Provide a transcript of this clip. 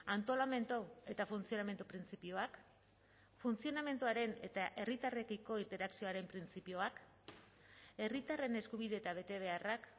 antolamendu eta funtzionamendu printzipioak funtzionamenduaren eta herritarrekiko interakzioaren printzipioak herritarren eskubide eta betebeharrak